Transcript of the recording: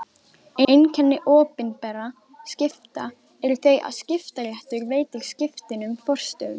Einkenni opinberra skipta eru þau að skiptaréttur veitir skiptunum forstöðu.